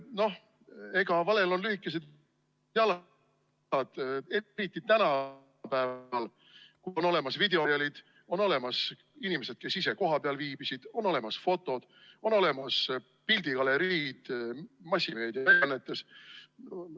Noh, valel on lühikesed jalad, eriti tänapäeval, kui on olemas videomaterjalid, on olemas inimesed, kes ise kohapeal viibisid, on olemas fotod, on olemas pildigaleriid massimeediaväljaannetes.